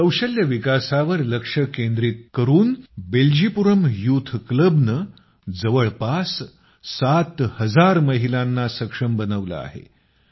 कौशल्य विकासावर फोकस करून बेल्जीपुरम यूथ क्लबनं जवळपास 7000 महिलांना सक्षम बनवलं आहें